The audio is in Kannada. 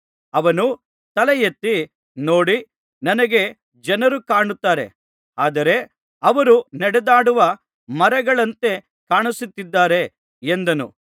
ಅವನು ತಲೆಯೆತ್ತಿ ನೋಡಿ ನನಗೆ ಜನರು ಕಾಣುತ್ತಾರೆ ಆದರೆ ಅವರು ನಡೆದಾಡುವ ಮರಗಳಂತೆ ಕಾಣಿಸುತ್ತಿದ್ದಾರೆ ಎಂದನು